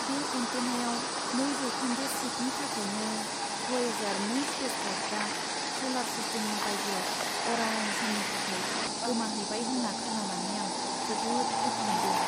बे एन्टेनायाव नै जौखोन्दो शिफ्टनि थाखायनो भयेजार नै स्पेसक्राफ्टआ स'लार सिस्टेमनि बायजोआव अराय समनि थाखाय गोमाहैबाय होन्ना खोनानानै आं जोबोद दुखु मोनदों!